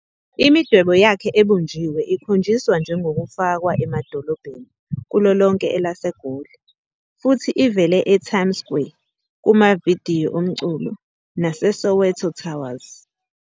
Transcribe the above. Imidwebo yakhe ebunjiwe ikhonjiswa njengokufakwa emadolobheni kulo lonke elaseGoli, futhi ivele eTimes Square, kumavidiyo omculo, naseSoweto Towers.